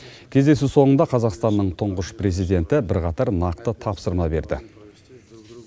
кездесу соңында қазақстанның тұңғыш президенті бірқатар нақты тапсырма берді